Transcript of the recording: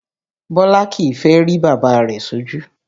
Bọlá kìí fẹ́ rí bàbá rẹ̀ sójú